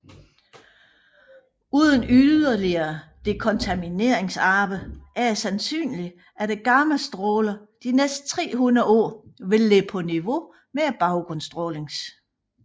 Uden yderligere dekontamineringsarbejde er det sandsynligt at gammastrålerne de næste 300 år vil ligge på niveau med baggrundsstrålingens